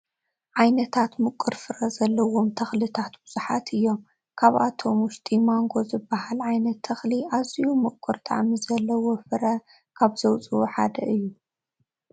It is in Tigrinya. ዓይነታት ምቁር ፍረ ዘለዎም ተኽልታት ብዙላት እዮም፡፡ ካብኣቶም ውሽጢ ማንጐ ዝበሃል ዓይነት ተኽሊ ኣዝዩ ምቁር ጣዕሚ ዘለዎ ፍረ ካብዘውፅኡ ሓደ እዩ፡፡